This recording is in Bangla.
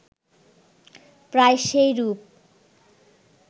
প্রায় সেইরূপ